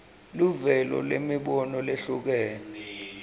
luvelo lwemibono lehlukene